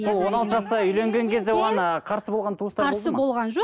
сол он алты жаста үйленген кезде оған ыыы қарсы болған туыстар қарсы болған жоқ